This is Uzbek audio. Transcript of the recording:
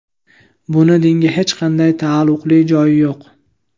Buni dinga hech qanday taalluqli joyi yo‘q.